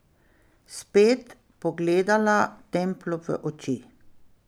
Spet pogledala Templu v oči.